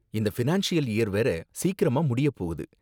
இந்த financial year வேற சீக்கிரமா முடிய போகுது.